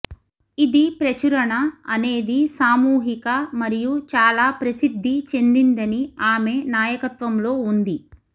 ఇది ప్రచురణ అనేది సామూహిక మరియు చాలా ప్రసిద్ధి చెందిందని ఆమె నాయకత్వంలో ఉంది